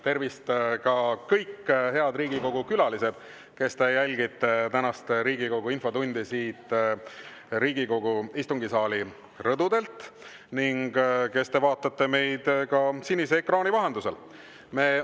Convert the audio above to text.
Tervist, kõik head Riigikogu külalised, kes te jälgite tänast Riigikogu infotundi siit Riigikogu istungisaali rõdudelt ning kes te vaatate meid ka sinise ekraani vahendusel!